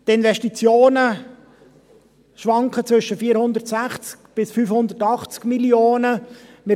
Die Investitionen schwanken zwischen 460 bis 580 Mio. Franken.